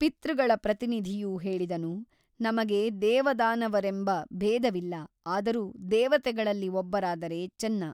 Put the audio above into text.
ಪಿತೃಗಳ ಪ್ರತಿನಿಧಿಯು ಹೇಳಿದನು ನಮಗೆ ದೇವದಾನವರೆಂಬ ಭೇದವಿಲ್ಲ ಆದರೂ ದೇವತೆಗಳಲ್ಲಿ ಒಬ್ಬರಾದರೆ ಚೆನ್ನ.